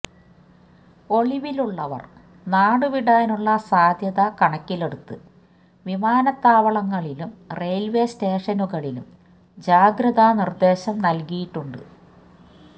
ഒളിവിലുള്ളവർ നാടുവിടാനുള്ള സാധ്യത കണക്കിലെടുത്ത് വിമാനത്താവളങ്ങളിലും റെയിൽവേ സ്റ്റേഷനുകളിലും ജാഗ്രത നിർദേശം നൽകിയിട്ടുണ്ട്